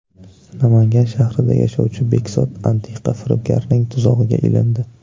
Namangan shahrida yashovchi Bekzod antiqa firibgarning tuzog‘iga ilindi.